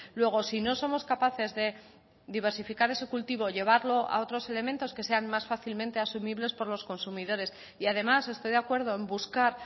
luego si no somos capaces de diversificar ese cultivo llevarlo a otros elementos que sean más fácilmente asumibles por los consumidores y además estoy de acuerdo en buscar